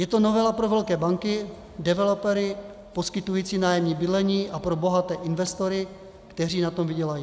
Je to novela pro velké banky, developery poskytující nájemní bydlení a pro bohaté investory, kteří na tom vydělají.